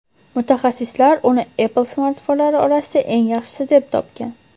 Mutaxassislar uni Apple smartfonlari orasida eng yaxshisi deb topgan.